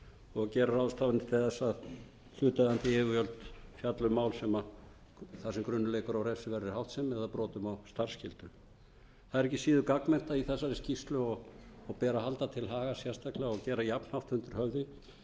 og gera ráðstafanir til þess að hlutaðeigandi yfirvöld fjalli um mál þar sem grunur leikur á refsiverðri háttsemi eða brotum á starfsskyldum það er ekki síður gagnmerkt í þessari skýrslu og bera að halda til haga sérstaklega og gera jafnhátt undir höfði að það var